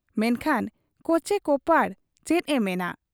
ᱢᱮᱱᱠᱷᱟᱱ ᱠᱚᱪᱮ ᱠᱚᱯᱟᱲ ᱪᱮᱫ ᱮ ᱢᱮᱱᱟ ᱾